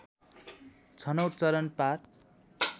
छनौट चरण पार